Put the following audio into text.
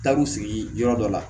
Taar'u sigi yɔrɔ dɔ la